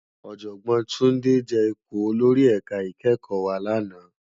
Òjògbòn Tunde je ipó ólórì èká ikèékò wá làná